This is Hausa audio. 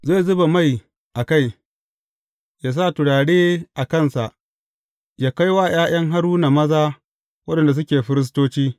Zai zuba mai a kai, yă sa turare a kansa yă kai wa ’ya’yan Haruna maza waɗanda suke firistoci.